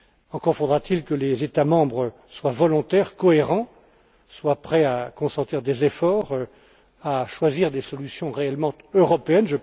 Encore faudra t il que les États membres soient volontaires, cohérents et prêts à consentir des efforts, à choisir des solutions réellement européennes.